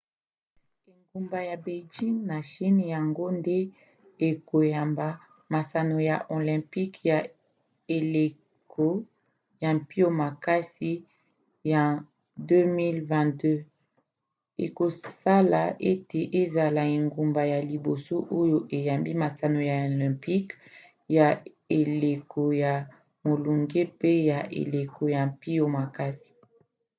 engumba ya beijing na chine yango nde ekoyamba masano ya olympiques ya eleko ya mpio makasi ya 2022 ekosala ete ezala engumba ya liboso oyo eyambi masano ya olympique ya eleko ya molunge mpe ya eleko ya mpio makasi